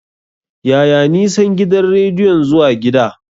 Yaya nisan gidan rediyon zuwa gida?